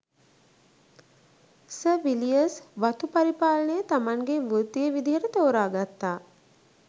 sir Villiers වතු පරිපාලනය තමන්ගේ වෘත්තීය විදිහට තෝරගත්තා